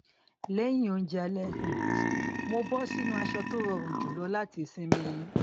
lẹyìn oúnjẹ alẹ um mo bọ sínú aṣọ tó rọrùn jùlọ láti sinmi